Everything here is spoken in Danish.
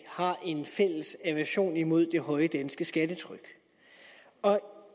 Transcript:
har en fælles aversion imod det høje danske skattetryk